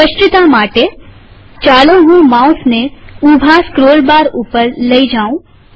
સ્પષ્ટતા માટેચાલો હું માઉસ ને ઊભા સ્ક્રોલ બાર ઉપર લઇ જાઉં